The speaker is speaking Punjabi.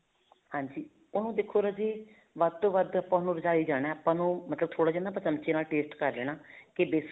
ਹਾਂਜੀ ਉਹਨੂੰ ਦੇਖੋ ਰਾਜੇ ਵੱਧ ਤੋ ਵੱਧ ਉਹਨੂੰ ਰਝਾਈ ਜਾਣਾ ਆਪਾਂ ਉਹਨੂੰ ਥੋੜਾ ਜਾ ਚੱਮਚੇ ਨਾਲ taste ਕਰ ਲੈਣਾ ਕੇ ਵੇਸ਼ਨ